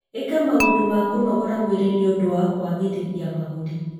ĩka maũndũ ma kũnogora mwĩrĩ nĩ ũndũ wa kwagĩrithia mahũri.